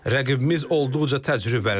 Rəqibimiz olduqca təcrübəlidir.